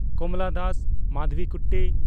ᱠᱚᱢᱞᱟ Das (ᱢᱟᱫᱷᱚᱵᱤᱠᱩᱴᱴᱤ)